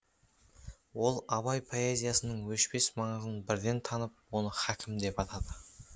ол абай поэзиясының өшпес маңызын бірден танып оны хакім деп атады